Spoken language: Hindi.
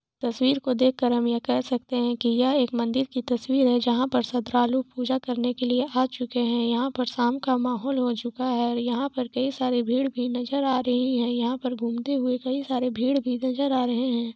तस्वीर की देख कर हम यह कह सकते है की यह एक मंदिर की तस्वीर है जहां पर सब श्रद्दालु पूजा करने के लिए आ चुके है यहां पर साम का माहोल हो चूका है यहां पर कई सारे भीड़ भी नजर आ रहे है और यहां पर घूमते हुए कई सारे भीड़ भी नजर आ रहे है।